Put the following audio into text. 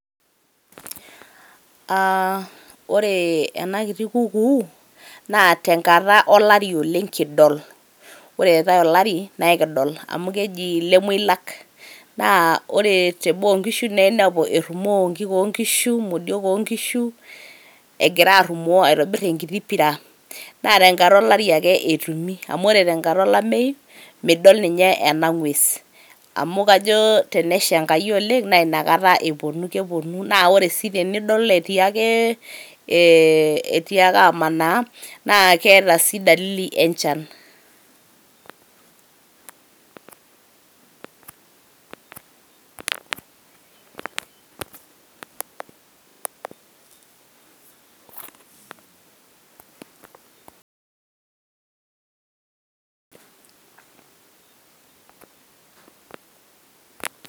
Aa ore ena kiti kukuu naa tenkata olari oleng kidol . ore eetae olari naa ekidol amu keji lemoilak . naa ore te boo oo nkishu naa inepu erumoo nkiik oonkishu ,modiok oonkishu ,egira arumoo aitobir enkiti pira. naa tenkata olari ake etumi amu ore tenkata olameu midol ninye ena ngwes amu kajo tenesha enkai oleng naa ina kata eponu. keponu naa ore si pidol ee etii ake amanaa naa keeta sii dalili enchan.